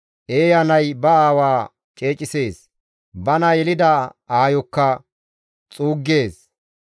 Eeya nay ba aawa ceecisees; bana yelida aayokka xuuggees.